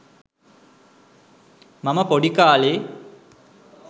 මම පොඩි කාලේ